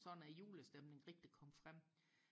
sådan at julestemningen rigtig kom frem